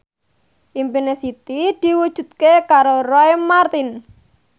impine Siti diwujudke karo Roy Marten